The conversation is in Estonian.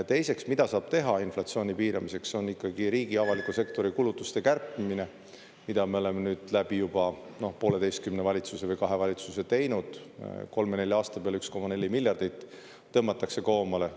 Teiseks, mida saab teha inflatsiooni piiramiseks, on ikkagi riigi, avaliku sektori kulutuste kärpimine, mida me oleme nüüd läbi juba pooleteise valitsuse või kahe valitsuse teinud: kolme-nelja aasta peale 1,4 miljardit tõmmatakse koomale.